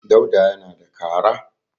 Dauda yana da kara.